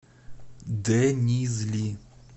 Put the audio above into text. денизли